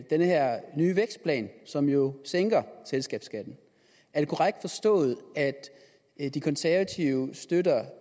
den her nye vækstplan som jo sænker selskabsskatten er det korrekt forstået at de konservative støtter